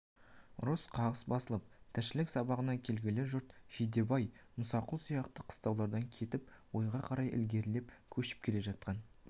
ұрыс-қағыс басылып тіршілік сабасына келгелі жұрт жидебай мұсақұл сияқты қыстаулардан кетіп ойға қарай ілгерілеп көшіп келе жатқан